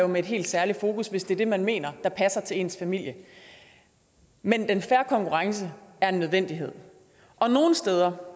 med et helt særligt fokus hvis det er det man mener passer til ens familie men den fair konkurrence er en nødvendighed og nogle steder